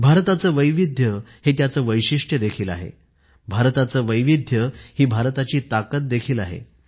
भारताचं वैविध्य हे त्याचं वैशिष्ट्य देखील आहे भारताचं वैविध्य ही भारताची ताकद देखील आहे